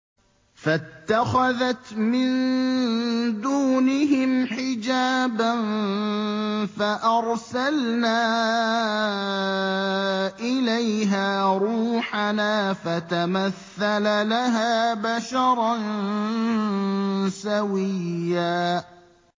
فَاتَّخَذَتْ مِن دُونِهِمْ حِجَابًا فَأَرْسَلْنَا إِلَيْهَا رُوحَنَا فَتَمَثَّلَ لَهَا بَشَرًا سَوِيًّا